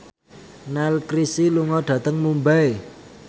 Neil Casey lunga dhateng Mumbai